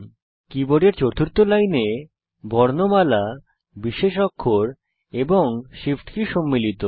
কীবোর্ডের চতুর্থ লাইনে বর্ণমালা বিশেষ অক্ষর এবং Shift কী সম্মিলিত